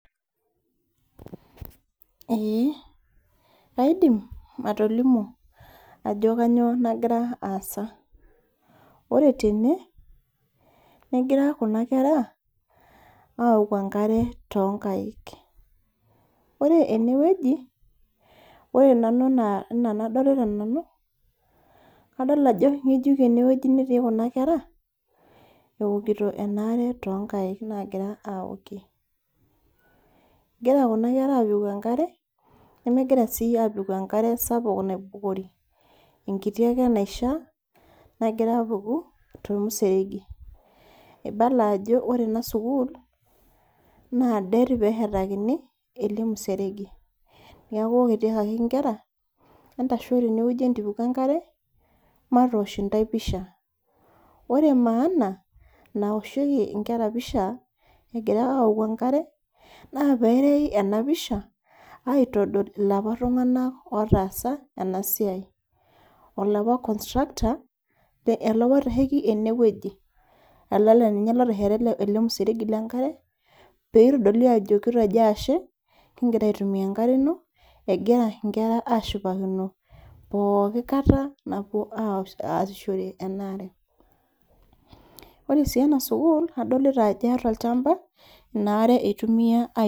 Ee kaidim atolimu ajo kanyioo nagira aasa. Ore tene, negira kuna kera, auku enkare tonkaik. Ore enewueji, ore nanu anaa enadolita nanu, kadol ajo ng'ejuk enewueji netii kuna kera, eokito enaare tonkaik nagira aokie. Egira kuna kera apiku enkare, nemegira si apiku enkare sapuk naibukori. Enkiti ake naishaa, nagira apuku, tomuseregi. Ibala ajo ore ena sukuul, naa det peshetakini, ele museregi. Neeku etiakaki nkera, entasho tenewueji entipiku enkare, matosh intae pisha. Ore maana naosheki inkera pisha, egira aoku enkare, naa peyai enapisha, aitodol ilapa tung'anak otaasa enasiai. Olapa constructor ,olapa oitasheki enewueji. Ele naa ninye lotesheta ele museregi lenkare, pitodoli ajo kitejo ashe, kigira aitumia enkare ino, egira nkera ashipakino pooki kata napuo aasishore enaare. Ore si ena sukuul, adolita ajo eeta olchamba, inaare itumia